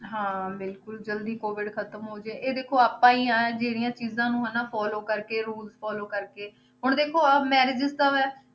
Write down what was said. ਹਾਂ ਬਿਲਕੁਲ ਜ਼ਲਦੀ COVID ਖ਼ਤਮ ਹੋ ਜਾਏ, ਇਹ ਦੇਖੋ ਆਪਾਂ ਹੀ ਆਂ ਜਿਹੜੀਆਂ ਚੀਜ਼ਾਂ ਨੂੰ ਹਨਾ follow ਕਰਕੇ rules follow ਕਰਕੇ, ਹੁਣ ਦੇਖੋ ਆਹ marriage ਇਸ ਹੈ,